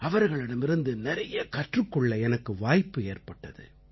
அவர்களிடமிருந்து நிறைய கற்றுக் கொள்ள எனக்கு வாய்ப்பு ஏற்பட்டது